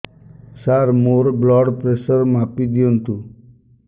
ସାର ମୋର blood pressure ମାପି ଦିଅନ୍ତୁ